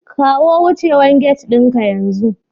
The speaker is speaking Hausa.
Kawo wucewar gate ɗinka yanzu